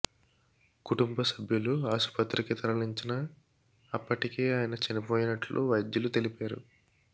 కుటుంబ సభ్యులు ఆస్పత్రికి తరలించిన అప్పటికే ఆయన చనిపోయినట్లు వైద్యులు తెలిపారు